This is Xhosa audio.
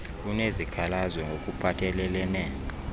unesikhalazo ngok uphathelelene